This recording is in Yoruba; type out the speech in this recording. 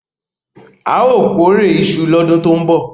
A óò kórè iṣu lọ́dún tó ń bọ̀.